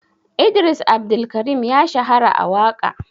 Idris Abdulkarim ya shahara a waƙa.